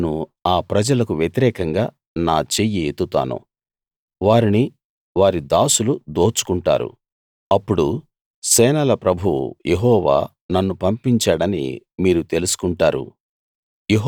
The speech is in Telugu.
నేను ఆ ప్రజలకు వ్యతిరేకంగా నా చెయ్యి ఎత్తుతాను వారిని వారి దాసులు దోచుకుంటారు అప్పుడు సేనల ప్రభువు యెహోవా నన్ను పంపించాడని మీరు తెలుసుకుంటారు